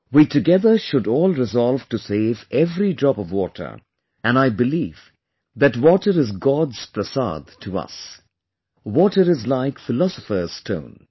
We together should all resolve to save every drop of water and I believe that water is God's prasad to us, water is like philosopher's stone